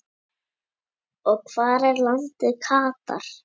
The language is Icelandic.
og Hvar er landið Katar?